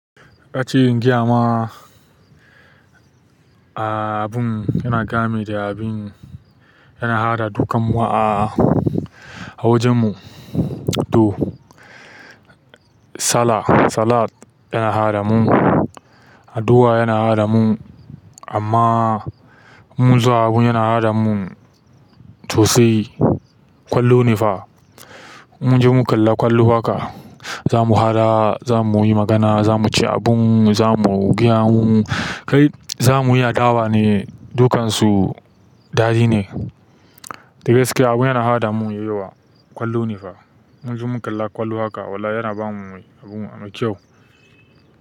Yace in gaya vma abun yana gami da abin yana haɗa dukkan mu a wajen mu. To, sallah salat yana haɗa mu, addu'a yana haɗa mu, amma inmu zo abun yana haɗa mun sosai, ƙwallo ne fa. Mun je mu kalla ƙwallo haka, za mu haɗa, za mu yi magana, za mu ci abun, za mu yi gaye mumu, kai zamuyi adawa ne, dukansu dai ne. Dagaske abun yana haɗa mun ya yayi yawa, ƙwallo ne fa. Mun zo mun kalla ƙwallo haka, wallah yana ba mu abun mai kyau.